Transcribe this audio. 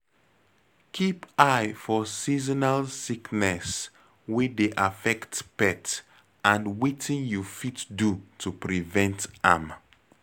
Keep eye for seasonal sickness wey dey affect pet and wetin you fit do to prevent am